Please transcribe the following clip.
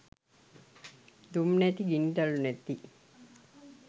දුම් නැති ගිනි දළු නැති